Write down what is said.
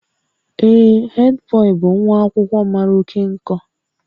Ee, headboy bụ nwa akwụkwọ mara oke nkọ